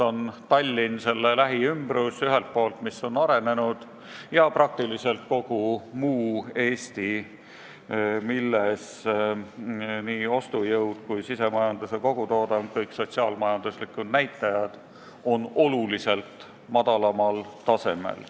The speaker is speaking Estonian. On Tallinn ja selle lähiümbrus, mis on arenenud, ja praktiliselt kogu muu Eesti, kus nii ostujõud kui sisemajanduse kogutoodang, kõik sotsiaal-majanduslikud näitajad on märksa madalamal tasemel.